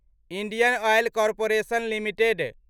Indian Oil Corporation limited